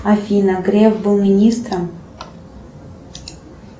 афина греф был министром